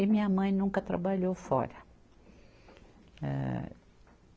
E minha mãe nunca trabalhou fora. eh